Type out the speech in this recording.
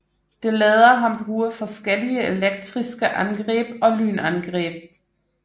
Det lader ham bruge forskellige elektriske angreb og lynangreb